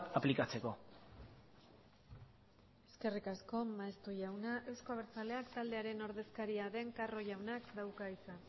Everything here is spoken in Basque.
aplikatzeko eskerrik asko maeztu jauna euzko abertzaleak taldearen ordezkaria den carro jaunak dauka hitza